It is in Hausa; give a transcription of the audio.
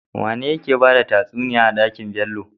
Wane yake bada tatsuniya a dakin Bello?